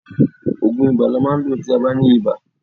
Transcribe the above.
Òògùn ibà ni a máa ń lò tí a bá ní ibà.